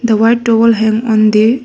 The white towel hang on the --